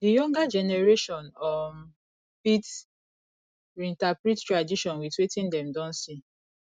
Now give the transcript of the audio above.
di younger generation um fit reinterprete tradition with wetin dem don see